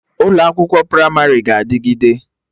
Ụlọ akwụkwọ Pramarị ga-adịgide